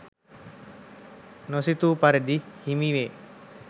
නොසිතූ පරිදි හිමි වේ.